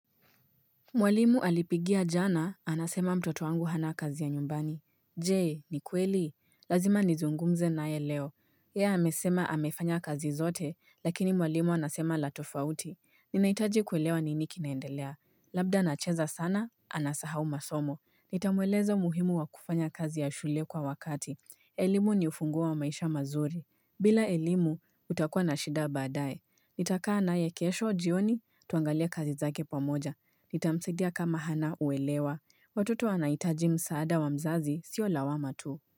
Mwalimu alinipigia jana, anasema mtoto wangu hana kazi ya nyumbani. Je, ni kweli? Lazima nizungumze naye leo. Yeye amesema amefanya kazi zote, lakini mwalimu anasema la tofauti. Ninahitaji kuelewa nini kinaendelea. Labda anacheza sana, anasahau masomo. Nitamweleza umuhimu wa kufanya kazi ya shule kwa wakati. Elimu ni ufunguo wa maisha mazuri. Bila elimu, utakua na shida baadaye. Nitakaa naye kesho, jioni, tuangalie kazi zake pamoja. Nitamsaidia kama hana uelewa. Watoto wanahitaji msaada wa mzazi sio lawama tu.